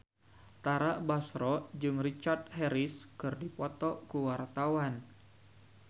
Tara Basro jeung Richard Harris keur dipoto ku wartawan